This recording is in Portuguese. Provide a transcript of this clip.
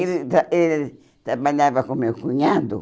ele tra ele trabalhava com o meu cunhado.